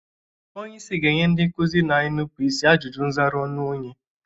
Onyeisi ga-enye ndị nkụzi na-enupu isi ajụjụ nzara ọnụ onye.